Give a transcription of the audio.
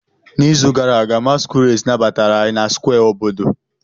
N'izu gara aga, masquerades nabatara anyị na Square obodo.